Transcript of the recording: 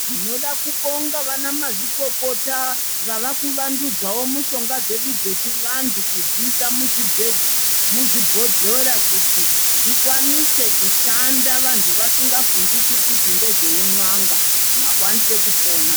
Tinoda kubonga vanamazvikokota vavakuvandudzawo mushonga dzedu dzechivantu ,kudziisa muzvibholera kuti zvikwanise kushanda vantu vasingavhunduki kuti ndezveun'anga ,vakwanise kupona.